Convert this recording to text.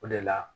O de la